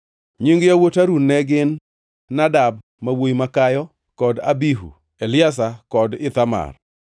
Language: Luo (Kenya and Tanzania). Nying yawuot Harun ne gin Nadab ma wuowi makayo kod Abihu, Eliazar kod Ithamar.